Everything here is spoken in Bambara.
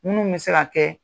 Munnu bɛ se ka kɛ